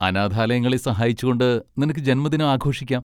അനാഥാലയങ്ങളെ സഹായിച്ചുകൊണ്ട് നിനക്ക് ജന്മദിനം ആഘോഷിക്കാം.